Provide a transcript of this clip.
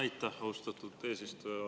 Aitäh, austatud eesistuja!